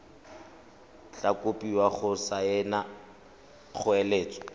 tla kopiwa go saena kgoeletso